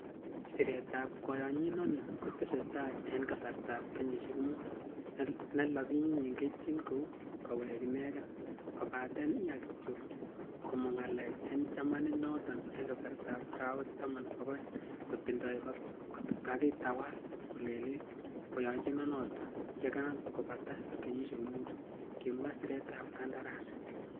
"Siretab koyonyinoni kotesetai en kasartab kenyisiek mut, ne lapinyin keityin ko koweke ineken, kobaten iya kityok komong ng'alek en chamainoton en kasartab arawek taman ak o'eng kotindoi kotakiwal kolelit koyonyinonoton yekakobata kenyisiek Mutu,"Kimwa siretab kandarasi.